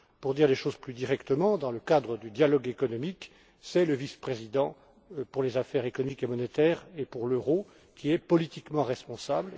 Pour dire les choses plus directement, dans le cadre du dialogue économique, c'est le vice président pour les affaires économiques et monétaires et pour l'euro qui est politiquement responsable.